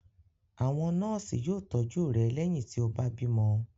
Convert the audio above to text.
Àwọn nọ́ọ́sì yóò tọ́jú rẹ lẹ́yìn tí ó bá bímọ.